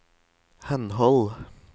henhold